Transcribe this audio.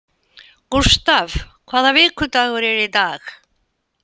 Gustav, hvaða vikudagur er í dag?